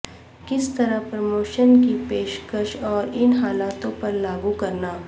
کس طرح پروموشنل کی پیشکش اور ان حالتوں پر لاگو کرنا